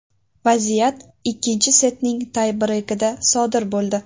Vaziyat ikkinchi setning tay breykida sodir bo‘ldi.